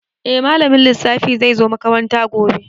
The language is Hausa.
Eh malamin lissafi zai zo makaranta gobe.